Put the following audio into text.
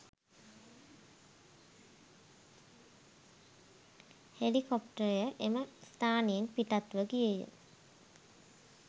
හෙලිකොප්ටරය එම ස්ථානයෙන් පිටත්ව ගියේය.